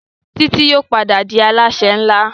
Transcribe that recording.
Titi yóò pàdà dì Alásè nlá.